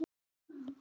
Nú er kvöld.